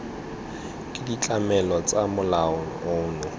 ke ditlamelo tsa molao ono